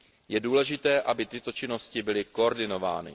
Je důležité, aby tyto činnosti byly koordinovány.